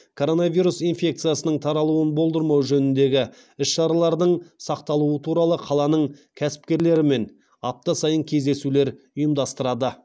коронавирус инфекциясының таралуын болдырмау жөніндегі іс шаралардың сақталуы туралы қаланың кәсіпкерлерімен апта сайын кездесулер ұйымдастырады